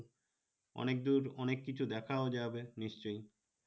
অনেক দুর অনেক কিছু দেখাও যাবে নিশ্চই